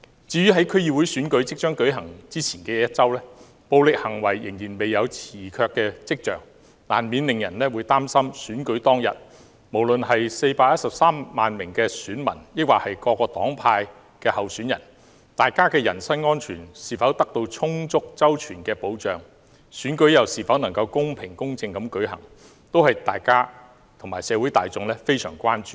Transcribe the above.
在區議會選舉即將舉行之前的一周，暴力行為仍然未有退卻的跡象，難免令人擔心選舉當天，不論是413萬名選民或各黨派的候選人，他們的人身安全是否得到充足周全的保障，選舉又是否能夠公平公正地舉行，這些通通都是我們和社會大眾相當關注的。